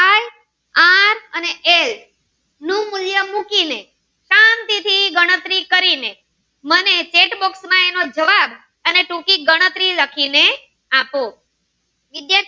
અને એ નું મૂલ્ય મૂકીને શાંતિ થી ગણતરી કરીને મને chet box માં એનો જવાબ અને ટૂંકી ગણતરી લખી ને આપો વિદ્યાર્થી મિત્રો